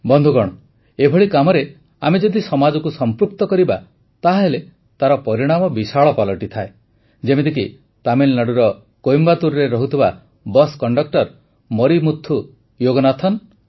ବନ୍ଧୁଗଣ ଏଭଳି କାମରେ ଆମେ ଯଦି ସମାଜକୁ ସମ୍ପୃକ୍ତ କରିବା ତାହେଲେ ତାର ପରିଣାମ ବିଶାଳ ପାଲଟିଥାଏ ଯେମିତିକି ତାମିଲନାଡ଼ୁର କୋଏମ୍ବାଟୁରରେ ରହୁଥିବା ବସ୍ କଣ୍ଡକ୍ଟର ମରିମୁଥୁ ଯୋଗନାଥନ